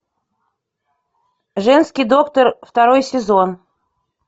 женский доктор второй сезон